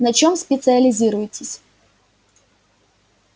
на чем специализируетесь